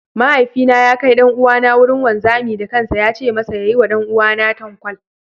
Mahaifina ya kai ɗan'uwana wurin wanzami da kansa ya ce masa ya yi wa ɗan'uwana tankwal.